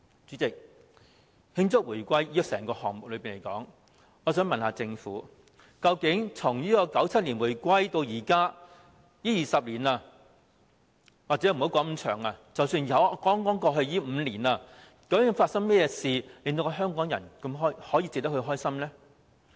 主席，就慶祝回歸的整個項目來說，我想問政府，究竟從1997年回歸至今這20年來，又或者不說那麼長的時間，只說剛過去的5年，究竟發生了甚麼事值得香港人開心呢？